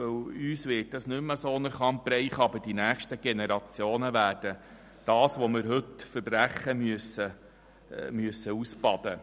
Denn uns werden die Folgen des Klimawandels nicht mehr so stark treffen, aber die nächsten Generationen werden ausbaden müssen, was wir heute «verbrechen».